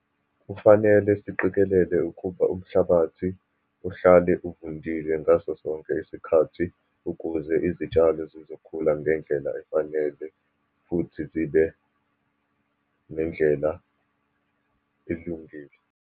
Kufanele siqikelele ukuba umhlabathi uhlale uvundile ngaso sonke isikhathi, ukuze izitshalo zizokhula ngendlela efanele, futhi zibe nendlela elungile.